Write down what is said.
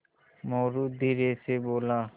मोरू धीरे से बोला